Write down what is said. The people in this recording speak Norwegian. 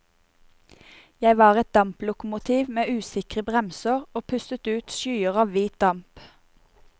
Jeg var et damplokomotiv med usikre bremser, og pustet ut skyer av hvit damp.